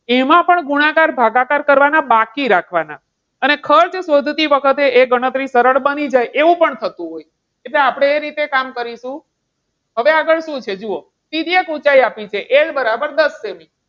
એમાં પણ ગુણાકાર ભાગાકાર કરવાના બાકી રાખવાના અને ખર્ચ શોધતી વખતે એવી ગણતરી સરળ બની જાય એવું પણ થતું હોય. એટલે આપણે એ રીતે કામ કરીશું. હવે આગળ શું છે. જુઓ તિર્યક ઊંચાઈ આપ્યું છે જુઓ L બરાબર દસ સેમી.